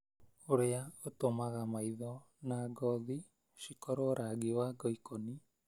ũrĩa ũtũmaga maitho na ngothi cikorwo rangi wa ngoikoni